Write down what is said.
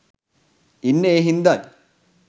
ඉන්නේ ඒ හින්දයි.